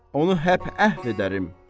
onu hep əhv edərəm.